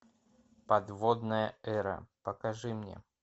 подводная эра покажи мне